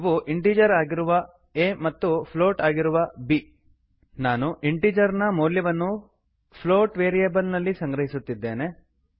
ಅವು ಇಂಟೀಜರ್ ಆಗಿರುವ a a ಮತ್ತು ಪ್ಲೋಟ್ ಆಗಿರುವ b ಬಿ ನಾನು ಇಂಟೀಜರ್ ನ ಮೌಲ್ಯವನ್ನು ಪ್ಲೋಟ್ ವೇರಿಯೇಬಲ್ ನಲ್ಲಿ ಸಂಗ್ರಹಿಸುತ್ತಿದ್ದೆನೆ